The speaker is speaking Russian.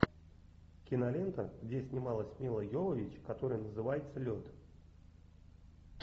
кинолента где снималась милла йовович которая называется лед